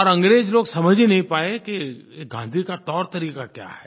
और अंग्रेज़ लोग समझ ही नहीं पाए कि ये गाँधी का तौरतरीका क्या है